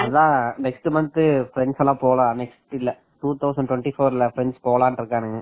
அத next month friends எல்லாம் போலாம்னு இருக்கோம் two thousand twenty four ல friends போகலாம்னு இருக்காங்க